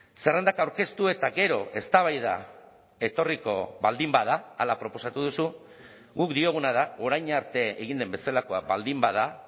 zerrendak aurkeztu eta gero eztabaida etorriko baldin bada hala proposatu duzu guk dioguna da orain arte egin den bezalakoa baldin bada